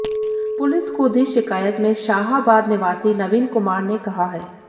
police को दी शिकायत में शाहाबाद निवासी नवीन कुमार ने कहा है